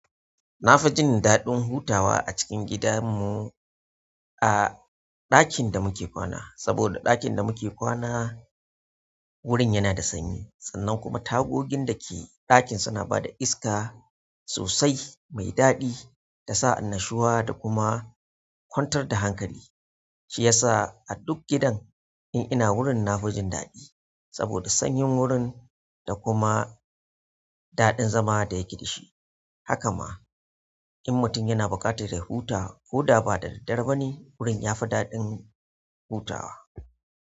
Na fi jin daɗin hutawa a cikin gidan mu a ɗakin da muke kwana, saboda ɗakin da muke kwana wurin yana da sanyi. Sannan kuma tagogin da ke ɗakin suna bada iska sosai mai daɗi da sa annashuwa da kuma kwantar da hankali. Shiyasa aduk gidan in ina wurin nafi jin daɗi saboda sanyin wurin da kuma daɗin zama da yake da shi. Haka ma in mutum yana buƙatar ya huta, ko da ba da daddare bane wurin ya fi daɗin hutawa.